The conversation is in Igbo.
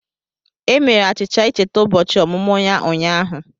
E mere achicha ịcheta ụbọchị ọmụmụ ya ụnyaahụ.